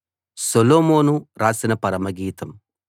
సొలొమోను రాసిన పరమగీతం